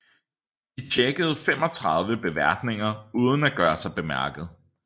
De tjekkede 35 beværtninger uden at gøre sig bemærket